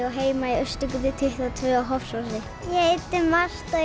á heima í Austurgötu tuttugu og tvö á Hofsósi ég heiti Marta